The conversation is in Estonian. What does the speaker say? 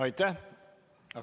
Aitäh!